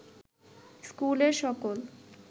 ইস্কুলের সকল